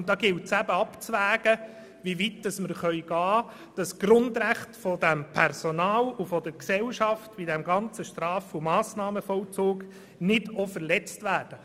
Und hier gilt es abzuwägen, wie weit wir gehen können, damit die Grundrechte dieses Personals und der Gesellschaft im Straf- und Massnahmenvollzug nicht verletzt wird.